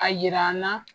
A yira n na